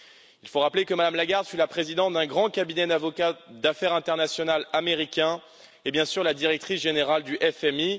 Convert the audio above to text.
Il faut rappeler que Mme Lagarde fut la présidente d'un grand cabinet d'avocats d'affaires international américain et, bien sûr, la directrice générale du FMI.